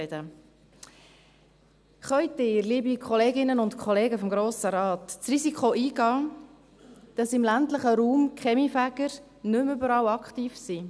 Können Sie, liebe Kolleginnen und Kollegen des Grossen Rates, das Risiko eingehen, dass die Kaminfeger im ländlichen Raum nicht mehr überall aktiv sind?